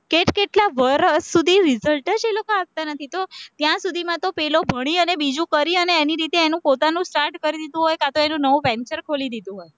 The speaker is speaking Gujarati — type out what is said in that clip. કેટકેટલા વર્ષ સુધી result જ એ લોકો આપતા નથી તો ત્યાં સુધીમાં તો પેલો ભણી અને બીજું કરી અને એની રીતે એનું પોતાનું start કરી દીધું હોય કાં તો એનું નવું venchor ખોલી દીધું હોય,